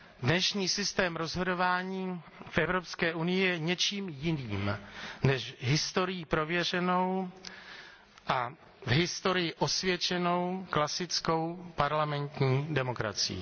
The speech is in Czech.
Dnešní systém rozhodování v Evropské unii je něčím jiným než historií prověřenou a v historii osvědčenou klasickou parlamentní demokracií.